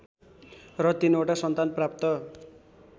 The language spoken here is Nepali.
र तीनवटा सन्तान प्राप्त